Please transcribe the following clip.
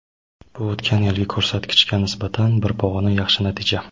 Bu o‘tgan yilgi ko‘rsatkichga nisbatan bir pog‘ona yaxshi natija.